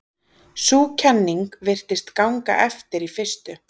sú kenning virtist ganga eftir í fyrstu